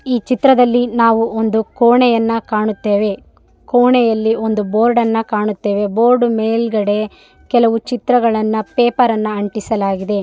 ಈ ಚಿತ್ರದಲ್ಲಿ ನಾವು ಒಂದು ಕೋಣೆಯನ್ನ ಕಾಣುತ್ತೇವೆ ಕೋಣೆಯಲ್ಲಿ ಒಂದು ಬೋರ್ಡ್‌ನ್ನು ಕಾಣುತ್ತೇವೆ ಬೋರ್ಡ್‌ ಮೇಲುಗಡೆ ಕೆಲವು ಚಿತ್ರಗಳನ್ನ ಪೇಪರ್‌ಗಳನ್ನ ಅಂಟಿಸಲಾಗಿದೆ.